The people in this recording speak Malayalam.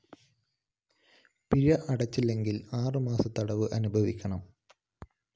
പിഴ അടച്ചില്ലെങ്കില്‍ ആറു മാസം തടവ് അനുഭവിക്കണം